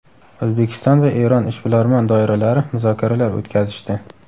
O‘zbekiston va Eron ishbilarmon doiralari muzokaralar o‘tkazishdi.